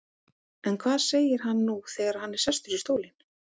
En hvað segir hann nú þegar hann er sestur í stólinn?